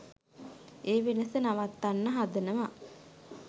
ඒ වෙනස නවත්තන්න හදනව.